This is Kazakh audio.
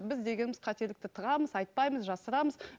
біз дегеніміз қателікті тығамыз айтпаймыз жасырамыз